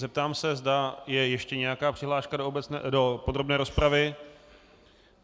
Zeptám se, zda je ještě nějaká přihláška do podrobné rozpravy.